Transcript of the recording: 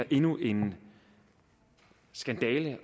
endnu en skandale